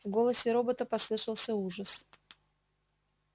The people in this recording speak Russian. в голосе робота послышался ужас